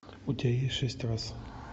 у тебя есть шесть раз